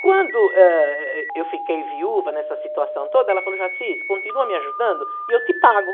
Quando, ãh, eu fiquei viúva nessa situação toda, ela falou, Jaciz, continua me ajudando e eu te pago.